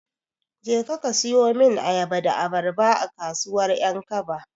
Jeka ka siyo min ayaba da abarba, a kasuwar 'Yankaba.